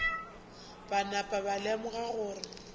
ba napa ba lemoga gore